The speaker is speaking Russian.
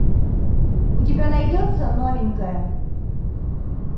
у тебя найдется новенькая